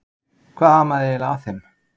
Hvað amaði eiginlega að þeim?